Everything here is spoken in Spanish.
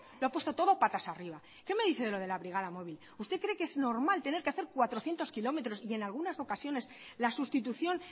lo ha puesto todo patas arriba que me dice de lo de la brigada móvil usted cree que es normal tener que hacer cuatrocientos kilómetros y en algunas ocasiones la sustitución